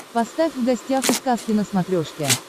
поставь в гостях у сказки на смотрешке